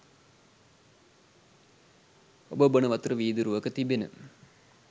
ඔබ බොන වතුර වීදුරුවක තිබෙන